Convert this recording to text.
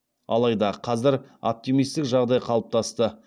алайда қазір оптимистік жағдай қалыптасты